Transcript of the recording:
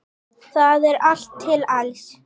Þar er allt til alls.